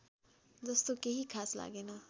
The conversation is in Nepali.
जस्तो केही खास लागेन